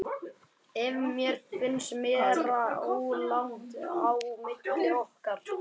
Að mér finnst vera óralangt á milli okkar.